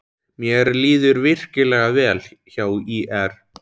Mér líður virkilega vel hjá ÍR.